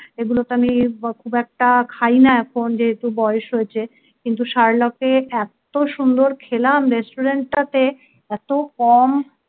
এগুলোতো আমি খুব একটা খাই না এখন যেহেতু বয়স হয়েছে কিন্তু শার্লক এত সুন্দর খেলাম restaurant টাতে এত কম